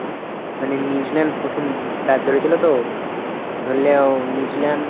মানে New Zealand প্রথম bat ধরেছিল তো, ধরলে ও New Zealand